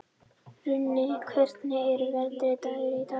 Runi, hvernig er veðrið í dag?